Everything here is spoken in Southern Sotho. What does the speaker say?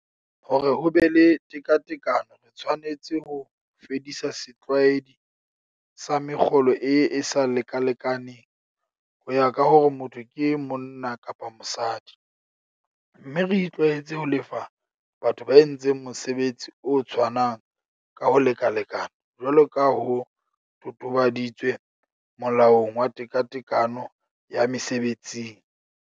Hore ho be le tekatekano re tshwanetse ho fedisa setlwaedi sa mekgolo e e sa lekalekaneng ho ya ka hore motho ke monna kapa mosadi, mme re itlwaetse ho lefa batho ba entseng mosebetsi o tshwanang ka ho lekalekana jwalo ka ho totobaditswe Molaong wa Tekatekano ya Mese betsing.